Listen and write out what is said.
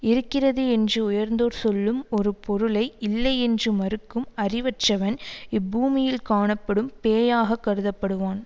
இருக்கிறது என்று உயர்ந்தோர் சொல்லும் ஒரு பொருளை இல்லை என்று மறுக்கும் அறிவற்றவன் இப்பூமியில் காணப்படும் பேயாக கருதப்படுவான்